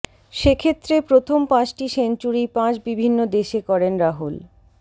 সেক্ষেত্রে প্রথম পাঁচটি সেঞ্চুরিই পাঁচ বিভিন্ন দেশে করেন রাহুল